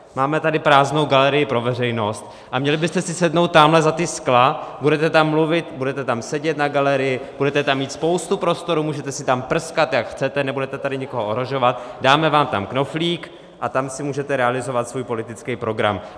Máme tady prázdnou galerii pro veřejnost a měli byste si sednout tamhle za ta skla, budete tam mluvit, budete tam sedět na galerii, budete tam mít spoustu prostoru, můžete si tam prskat, jak chcete, nebude tady nikoho ohrožovat, dáme vám tam knoflík a tam si můžete realizovat svůj politický program.